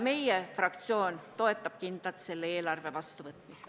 Meie fraktsioon toetab kindlalt selle eelarve vastuvõtmist.